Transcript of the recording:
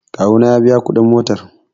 kawona ya biya kudin motar